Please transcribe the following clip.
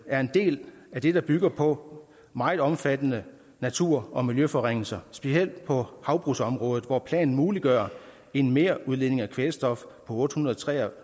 er en del af det der bygger på meget omfattende natur og miljøforringelser specielt på havbrugsområdet hvor planen muliggør en merudledning af kvælstof på otte hundrede og tre og